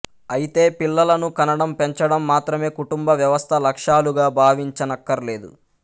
అయితే పిల్లలను కనడం పెంచడం మాత్రమే కుటుంబ వ్యవస్థ లక్ష్యాలుగా భావించనక్కరలేదు